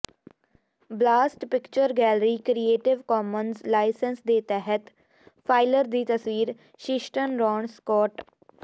basalt picture gallery creative commons license ਦੇ ਤਹਿਤ ਫਾਈਲਰ ਦੀ ਤਸਵੀਰ ਸ਼ਿਸ਼ਟਨ ਰੌਨ ਸਕੋਟ